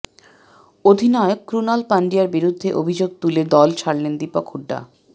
অধিনায়ক ক্রণাল পান্ডিয়ার বিরুদ্ধে অভিযোগ তুলে দল ছাড়লেন দীপক হুডা